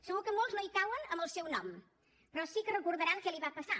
segur que molts no hi cauen en el seu nom però sí que recordaran què li va passar